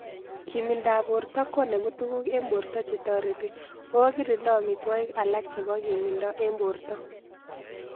Kimindop porto konemu tuguk eng' porto che tareti o kirindaamitwogik alak chepo kimido eng' porto